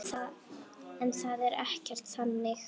En það er ekkert þannig.